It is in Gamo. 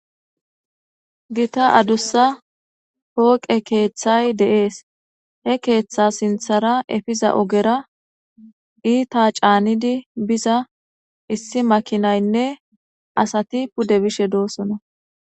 Githa adussa foqe keththay dess. He keththa sinthara epizza oggera itta canidi bizza issi makinaynne assathi pude beishshe dossona.